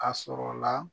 A sɔrɔ la